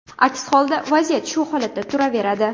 Aks holda vaziyat shu holatda turaveradi.